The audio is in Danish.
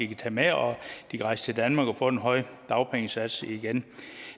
kan tage med og de kan rejse til danmark og få den høje dagpengesats igen